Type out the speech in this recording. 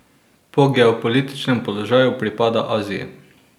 Po geopolitičnem položaju pripada Aziji.